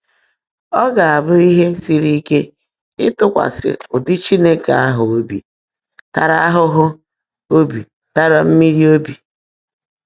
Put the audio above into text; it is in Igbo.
Ọ́ gá-ábụ́ íhe sírí íke ị́tụ́kwasị́ ụ́dị́ Chínekè áhụ́ óbí tààrá áhụ́ óbí tààrá mmị́rí óbí.